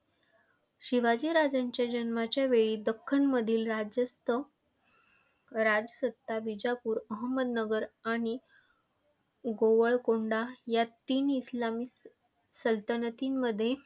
शिवाजीराजांच्या जन्माच्यावेळी दख्खनमधील राज्यस्त राजसत्ता विजापूर, अहमदनगर आणि गोवळकोंडा ह्या तीन इस्लामिक सलतनतींमध्ये.